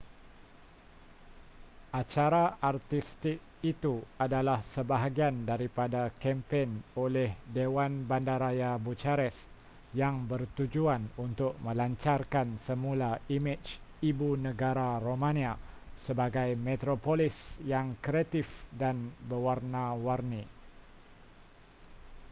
acara artistik itu adalah sebahagian daripada kempen oleh dewan bandaraya bucharest yang bertujuan untuk melancarkan semula imej ibu negara romania sebagai metropolis yang kreatif dan berwarna-warni